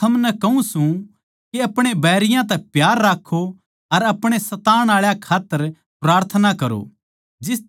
पर मै थमनै कहूँ सूं के अपणे बैरियाँ तै प्यार राक्खों अर अपणे सतावण आळे के खात्तर प्रार्थना करो